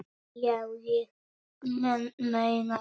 Já, ég meina það.